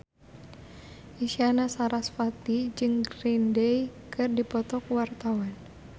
Isyana Sarasvati jeung Green Day keur dipoto ku wartawan